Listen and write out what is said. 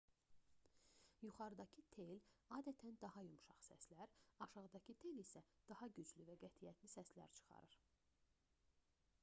yuxarıdakı tel adətən daha yumşaq səslər aşağıdakı tel isə daha güclü və qətiyyətli səslər çıxarır